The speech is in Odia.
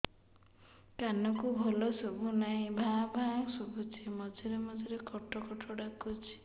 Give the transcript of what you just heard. କାନକୁ ଭଲ ଶୁଭୁ ନାହିଁ ଭାଆ ଭାଆ ଶୁଭୁଚି ମଝିରେ ମଝିରେ କଟ କଟ ଡାକୁଚି